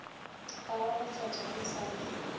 ba golofatša e sa le